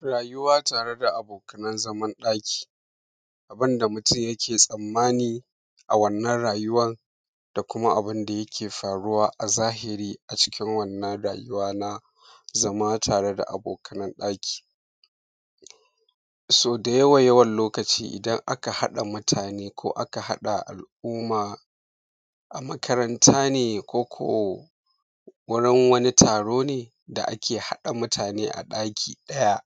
Rayuwa tare da abokanan zaman ɗaki. Abun da mutum yike tsammani a wannan rayuwan, da kuma abun da yake faruwa a zahiri a cikin wannan rayuwa na zama tare da abokana nan ɗaki. So da yawa-yawan lokaci idan aka haɗa mutune ko aka hada al’umma a makaranta ne? Ko ko wani taro ne da ake haɗa mutane a daki ɗaya?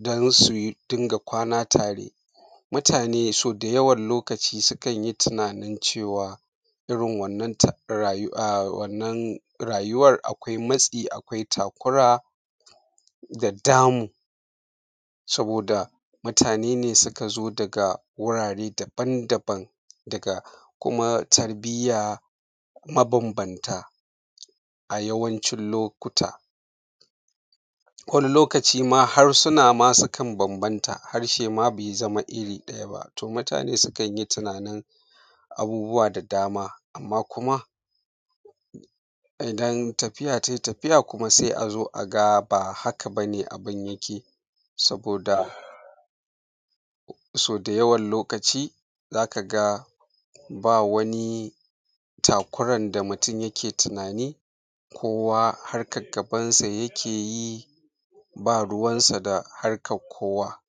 Don su dunga kwana tare, mutane so da yawan lokaci sukan yi tunanin cewa irin wannan ta, rayu, a wannan rayuwar akwai matsi akwai takura, da damuwa, saboda mutane ne suka zo daga wurare dabam dabam daga, kuma tarbiyya mabambanta, a yawancin lokuta. Wani lokaci ma harsuna ma sukan banbanta, harshe ma bai zama iri ɗaya ba, to mutane sukan yi tunanin abubuwa da dama, amma kuma idan tafiya te tafiya sai a zo zo aga ba haka bane abun yike, saboda so da yawan lokaci zaka ga ba wani takuran da mutum yake tunani, kowa harkan gabansa yake yi, ba ruwansa da harkar kowa.